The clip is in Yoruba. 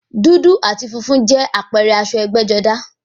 Dúdú àti funfun jẹ́ àpẹẹrẹ aṣọ ẹgbẹ́-jọdá.